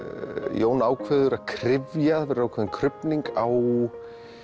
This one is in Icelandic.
Jón ákveður að kryfja það verður ákveðin krufning á